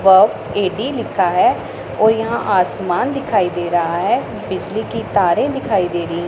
ए_डि लिखा है और यहां आसमान दिखाई दे रहा है बिजली के तारे दिखाई दे रही--